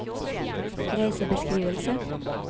reisebeskrivelse